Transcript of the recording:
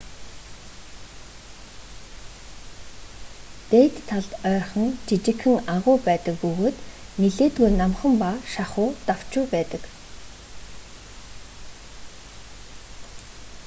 дээд талд ойрхон жижигхэн агуй байдаг бөгөөд нэлээдгүй намхан ба шахуу давчуу байдаг